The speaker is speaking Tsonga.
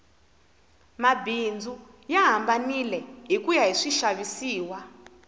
mabindzu ya hambanile hikuya hi swixavisi